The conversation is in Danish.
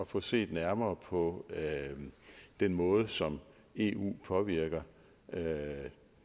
få set nærmere på den måde som eu påvirker